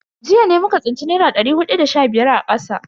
Jiya ne muka tsinci dari naira hudu da sha biyar a kasa.